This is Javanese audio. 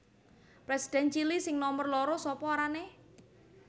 Presiden Chili sing nomer loro sapa arane?